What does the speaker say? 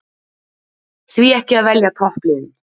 Því ekki að verja toppliðin?